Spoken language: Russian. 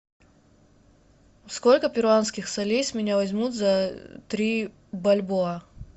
сколько перуанских солей с меня возьмут за три бальбоа